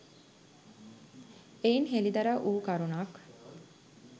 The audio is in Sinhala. එයින් හෙළිදරව් වූ කරුණක්